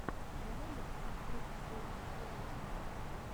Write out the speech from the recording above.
давай я посмотрю последнюю серию игл